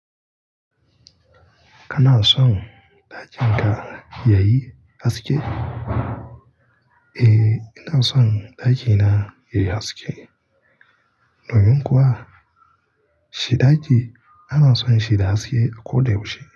Kanason dakinka yayi haske. Eh ina son ɗakina yayi haske. Nomin kuwa? Shi ɗaki ana son shi da haske a ko da yaushe.